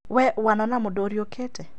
We wanona mũndũ ũriũkĩte?